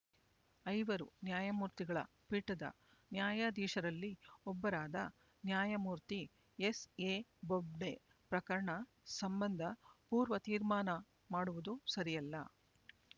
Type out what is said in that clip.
ಐವರು ನ್ಯಾಯಮೂರ್ತಿಗಳ ಪೀಠದ ನ್ಯಾಯಾಧೀಶರಲ್ಲಿ ಒಬ್ಬರಾದ ನ್ಯಾಯಮೂರ್ತಿ ಎಸ್ಎ ಬೊಬ್ಡೆ ಪ್ರಕರಣ ಸಂಬಂಧ ಪೂರ್ವ ತೀರ್ಮಾನ ಮಾಡುವುದು ಸರಿಯಲ್ಲ